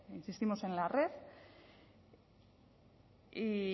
insistimos en la red y